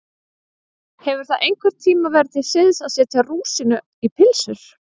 Hefur það einhvern tíma verið til siðs að setja rúsínu í pylsur?